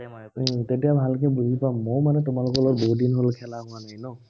তেতিয়া ভালকে বুজি পাম। মইও মানে তোমালোকৰ লগত বহুদিন হল খেলা হোৱা নাই ন